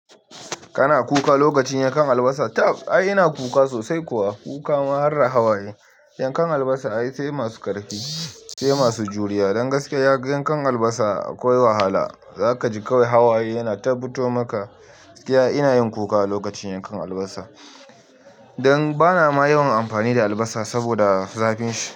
Kana kuka lokacin yankan albasa? Tab i ina kuka sosai kuwa. Kuka ma harda hawaye. Yankan albasa ai sai masu ƙarfi, sai masu juriya. Don gaskiya yankan albasa akwai wahala, za ka ji kawai hawaye yana tabbito maka. Iya, ina yin kuka lokacin yankan albasa don bana ma yawan ampani da albasa saboda zafin shi.